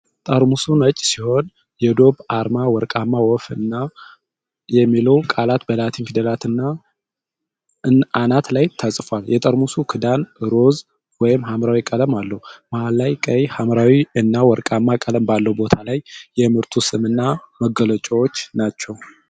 ጠርሙሱ ነጭ ሲሆን፣ የዶቭአርማ ወርቃማ ወፍ እና የሚለው ቃል በላቲን ፊደል አናት ላይ ተጽፏልየጠርሙሱ ክዳን ሮዝ/ሐምራዊ ቀለም አለው። መሃል ላይ ቀይ/ሐምራዊ እና ወርቃማ ቀለም ባለው ቦታ ላይ የምርቱ ስም እና መግለጫዎች ናቸው፡፡